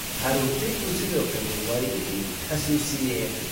Carruurtaydu sidoo kale way i hoosaysiiyeen